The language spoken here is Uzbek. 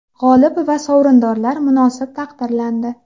G‘olib va sovrindorlar munosib taqdirlandi.